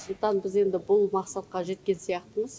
сондықтан біз енді бұл мақсатқа жеткен сияқтымыз